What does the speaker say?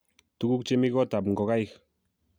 tuguuk chemi gotab ngokaik